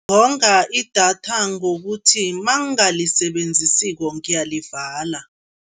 Ngonga idatha ngokuthi nangingalisebenzisiko ngiyalivala.